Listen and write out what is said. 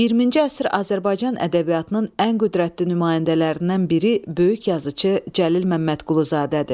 20-ci əsr Azərbaycan ədəbiyyatının ən qüdrətli nümayəndələrindən biri böyük yazıçı Cəlil Məmmədquluzadədir.